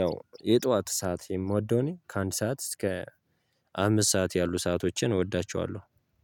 ያው የጠዋት ሰዓት የምወደው እኔ ከአንድ ሰዓት እስከ አምስት ሰዓት ያሉ ሰአቶችን እወዳቸዋለሁ